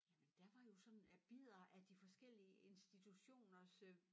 Jamen der var jo sådan af bidder af de forskellige institutioners øh